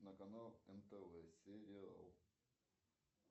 на канал нтв сериал